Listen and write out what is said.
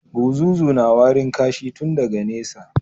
Buzuzu na warin kashi tun daga nesa.